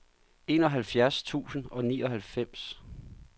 enoghalvfjerds tusind og nioghalvfems